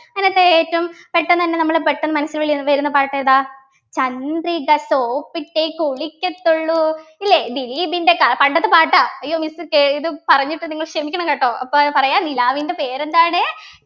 എന്നിട്ട് ഏറ്റവും പെട്ടന്നെന്നെ നമ്മളെ പെട്ടന്ന് മനസ്സിൽ ഉള്ളിൽ വരുന്ന പാട്ടേതാ ചന്ദ്രിക soap ഇട്ട് കുളിക്കത്തുള്ളൂ ഇല്ലേ ദിലീപിൻ്റെ ക പണ്ടത്തെ പാട്ടാ അയ്യോ miss പറഞ്ഞിട്ട് നിങ്ങൾ ക്ഷമിക്കണം കേട്ടോ അപ്പൊ പറയാ നിലാവിൻ്റെ പേരെന്താണ്